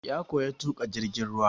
Ya koya tuƙa jirgin ruwa.